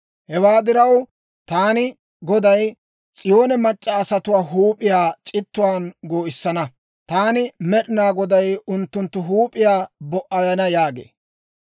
Hewaa diraw, taani Goday S'iyoone mac'c'a asatuwaa huup'iyaa c'ittuwaan goo'issana. Taani Med'inaa Goday unttunttu huup'iyaa bo"ayana» yaagee.